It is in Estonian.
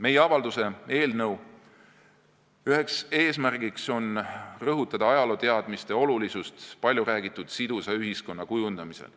Meie avalduse eelnõu üks eesmärke on rõhutada ajalooteadmiste olulisust palju räägitud sidusa ühiskonna kujundamisel.